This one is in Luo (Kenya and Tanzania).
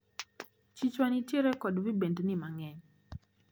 Chichwa nitiere kod Vibendni mang`eny.